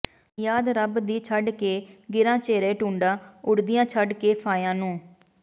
ਯਾਦ ਰੱਬ ਦੀ ਛੱਡ ਕੇ ਗਿਰਾਂ ਝੇਰੇ ਢੂੰਡਾਂ ਉਡਦੀਆਂ ਛੱਡ ਕੇ ਫਾਹੀਆਂ ਨੂੰ